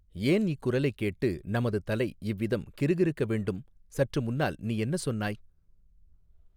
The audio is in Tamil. ஏன் இக் குரலைக் கேட்டு நமது தலை இவ்விதம் கிறுகிறுக்க வேண்டும் சற்று முன்னால் நீ என்ன சொன்னாய்.